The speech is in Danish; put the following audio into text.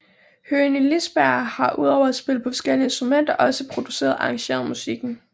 Høgni Lisberg har udover at spille på forskellige instrumenter også produceret og arrangeret musikken